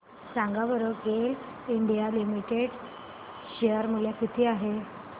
सांगा बरं GAIL India limited share मूल्य किती आहे